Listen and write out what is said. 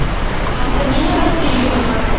антонина васильевна